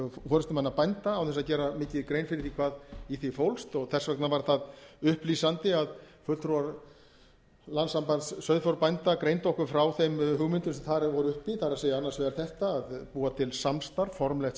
forustumanna bænda án þess að gera mikið grein fyrir því hvað í því fólst þess vegna var það upplýsandi að fulltrúar landssambands sauðfjárbænda greindu okkur frá þeim hugmyndum sem þar voru uppi það er annars vegar hátta að búa til samstarf formlegt